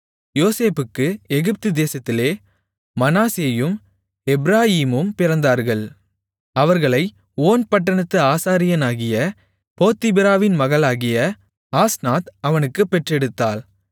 யோசேப்புக்கு எகிப்துதேசத்திலே மனாசேயும் எப்பிராயீமும் பிறந்தார்கள் அவர்களை ஓன் பட்டணத்து ஆசாரியனாகிய போத்திபிராவின் மகளாகிய ஆஸ்நாத் அவனுக்குப் பெற்றெடுத்தாள்